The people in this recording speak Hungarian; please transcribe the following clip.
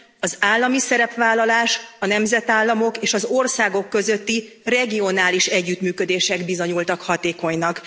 Az állami szerepvállalás, a nemzetállamok és az országok közötti regionális együttműködések bizonyultak hatékonynak.